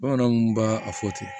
Bamananw tun b'a a fɔ ten